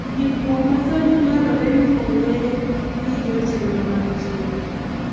Ndikruok ma sani dwarore ni ong’e gi jotelo mag chik.